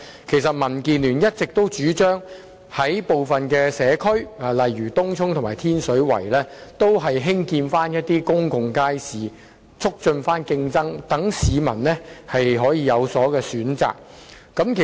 其實民建聯一直主張在部分社區如東涌和天水圍興建公眾街市，以促進競爭，讓市民可以有所選擇。